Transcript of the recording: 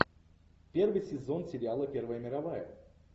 первый сезон сериала первая мировая